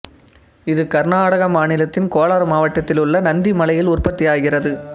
இது கர்நாடக மாநிலத்தின் கோலார் மாவட்டத்திலுள்ள நந்தி மலையில் உற்பத்தியாகிறது